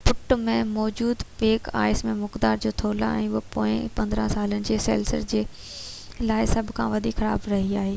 پٽ مين موجب پيڪ آئس جي مقدار ۽ ٿولهہ اهو پوئين 15 سالن ۾ سيلرس جي لاءِ سڀ کان وڌيڪ خراب رهئي آهي